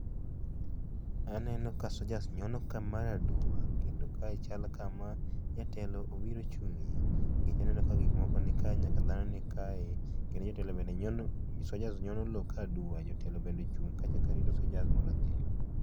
Aneno ka soldiers nyono ka mar aduwa kendo kae chal kama jatelo obiro ochungie nikech aneno ka gik moko ni ka nyaka dhano nikaeni kendo soldiers bende nyono lo ka aduwa jotelo bende ochung kacha karito soldiers mondo odhiyo.